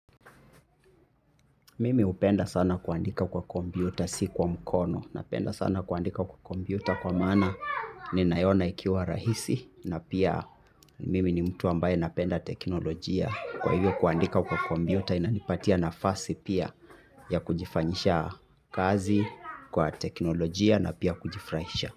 Mimi hupenda sana kuandika kwa kompyuta si kwa mkono, napenda sana kuandika kwa kompyuta kwa maana ninaiona ikiwa rahisi na pia mimi ni mtu ambaye napenda teknolojia, kwa hivyo kuandika kwa kompyuta inanipatia nafasi pia, ya kujifanyisha kazi kwa teknolojia na pia kujifurahisha.